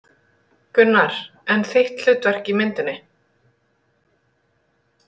Gunnar: En þitt hlutverk í myndinni?